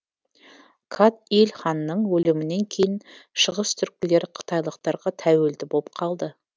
кат иль ханның өлімінен кейін шығыстүркілер қытайлықтарға тәуелді болып қалды